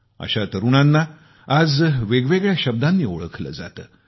अशा तरूणांना आज वेगवेगळ्या शब्दांनी ओळखले जातात